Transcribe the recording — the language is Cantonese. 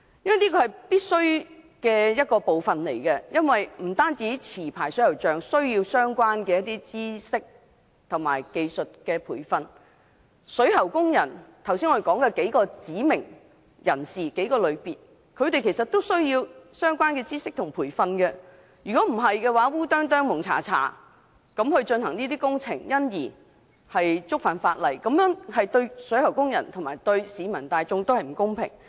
這部分是必須的，不單持牌水喉匠需要相關的知識及技術培訓，我們剛才提及的各類指定水喉工人，其實也需要相關的知識及培訓，否則胡里胡塗進行工程而觸犯法例，對水喉工人及市民大眾也不公平。